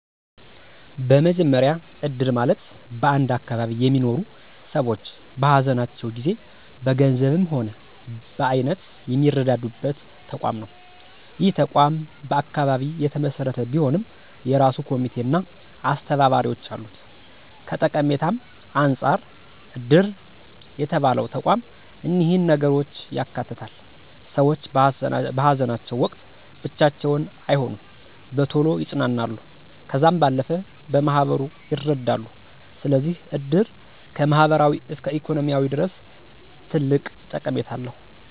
በመጀመሪ እድር ማለት በአንድ አካባቢ የሚኖሩ ሰዎች በሃዘናቸው ጊዜ በገንዘብም ሆነ በአይነት የሚረዳዱበት ተቋም ነው። ይህ ተቋም በአካባቢ የተመሰረተ ቢሆንም የእራሱ ኮሚቴ አና አስተባባሪዎች አሉት። ከጠቀሜታም አንፃር እድር የተባለው ተቋም እኒህን ነገሮች ያካትታል፦ ሰዎች በሃዘናቸው ወቅት ብቻቸውን አይሆኑም፣ በቶሎ ይፅናናሉ ከዛም ባለፈ በማህበሩ ይረዳሉ። ስለዚህ እድር ከማህበራዊ እስከ ኢኮኖሚያዊ ድረስ ትልቅ ጠቀሜታ አለው።